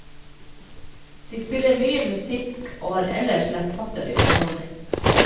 De spiller mye musikk og har ellers lettfattelig underholdning.